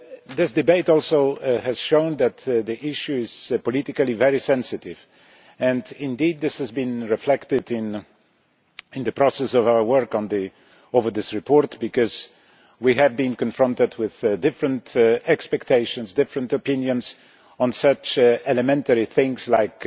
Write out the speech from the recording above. This debate has also shown that the issue is politically very sensitive and, indeed, this has been reflected in the process of our work on this report because we have been confronted with different expectations, different opinions, on such elementary things like